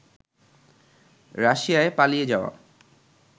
রাশিয়ায় পালিয়ে যাওয়া